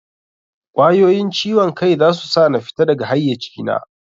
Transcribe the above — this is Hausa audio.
Ƙwayoyin ciwon kai zasu sa na fita daga haiyaci na